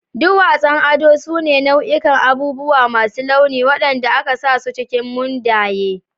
Duwatsun ado su ne nau'ikan abubuwa masu launi waɗanda aka sa su cikin mundaye.